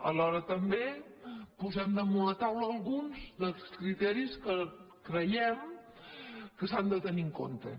alhora també posem damunt la taula alguns dels criteris que creiem que s’han de tenir en compte